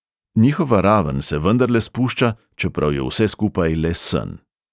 Njihova raven se vendarle spušča, čeprav je vse skupaj le sen.